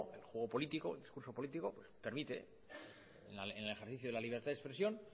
el juego político el discurso político permite en el ejercicio de la libertad de expresión